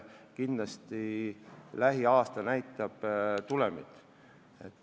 Kindlasti me sel aastal näeme tulemit.